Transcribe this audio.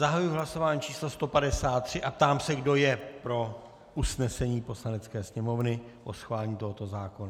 Zahajuji hlasování číslo 153 a ptám se, kdo je pro usnesení Poslanecké sněmovny o schválení tohoto zákona.